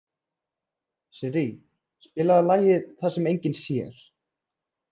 Sirrí, spilaðu lagið „Það sem enginn sér“.